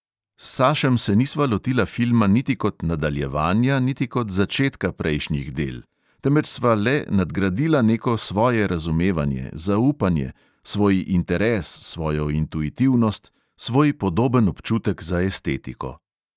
S sašem se nisva lotila filma niti kot nadaljevanja niti kot začetka prejšnjih del, temveč sva le nadgradila neko svoje razumevanje, zaupanje, svoj interes, svojo intuitivnost, svoj podoben občutek za estetiko ...